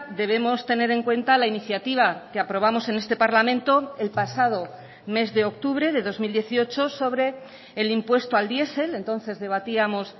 debemos tener en cuenta la iniciativa que aprobamos en este parlamento el pasado mes de octubre de dos mil dieciocho sobre el impuesto al diesel entonces debatíamos